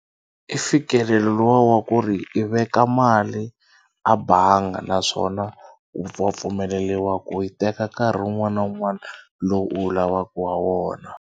I fikelelo luwa wa ku ri i veka mali a bangi naswona wa pfumeleriwa ku yi teka nkarhi wun'wana na wun'wana lowu wu lavaka ha wona.